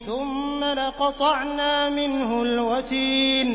ثُمَّ لَقَطَعْنَا مِنْهُ الْوَتِينَ